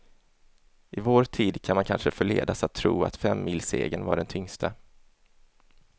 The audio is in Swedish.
I vår tid kan man kanske förledas att tro att femmilssegern var den tyngsta.